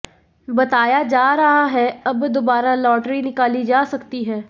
बताया जा रहा है अब दोबारा लॉटरी निकाली जा सकती है